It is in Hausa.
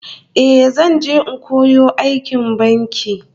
Eh, zan je in koyo aikin banki